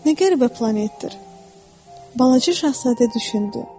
Nə qəribə planetdir, balaca şahzadə düşündü.